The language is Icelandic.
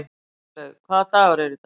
Svanlaug, hvaða dagur er í dag?